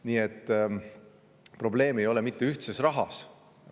Nii et probleem ei ole mitte ühtses rahas.